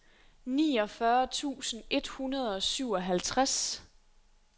niogfyrre tusind et hundrede og syvoghalvtreds